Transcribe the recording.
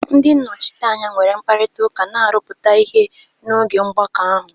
Ndị nnọchiteanya nwere mkparịta ụka na-arụpụta ihe n'oge mgbakọ ahụ.